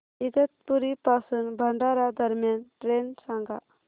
इगतपुरी पासून भंडारा दरम्यान ट्रेन सांगा